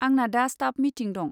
आंना दा staff meeting दं।